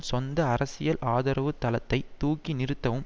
சொந்த அரசியல் ஆதரவுத் தளத்தை தூக்கி நிறுத்தவும்